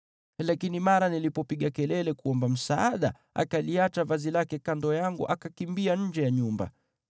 Lakini mara nilipopiga kelele kuomba msaada, akaliacha vazi lake kando yangu akakimbia nje ya nyumba.”